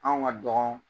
Anw ka dɔgɔn